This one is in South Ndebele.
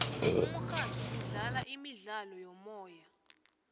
umurhatjho udlala imidlalo yomoya